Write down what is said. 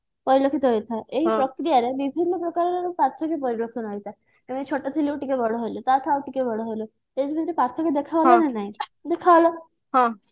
ପରିଲକ୍ଷିତ ହୋଇଥାଏ ଏହି ପ୍ରକ୍ରିୟାରେ ବିଭିନ୍ନ ପ୍ରକାରର ପାର୍ଥକ୍ଯ ପରିଲକ୍ଷଣ ହୋଇଥାଏ ଛୋଟ ଥିଲୁ ଟିକେ ବଡ ହେଲୁ ତାଠୁ ଆଉ ଟିକେ ବଡ ହେଲୁ ଏଇ ଭିତରେ ପାର୍ଥକ୍ଯ ଦେଖା ଗଲା ନା ନାହିଁ ଦେଖାଗଲା